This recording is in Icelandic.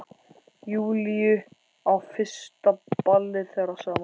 Júlíu á fyrsta ballið þeirra saman.